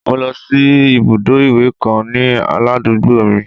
Mo lọ sí ibùdó ìwẹ̀ kan ní ládùúgbò mi